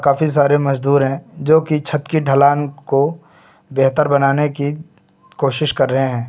काफी सारे मजदूर हैं जो कि छत की ढलान को बेहतर बनाने की कोशिश कर रहे हैं।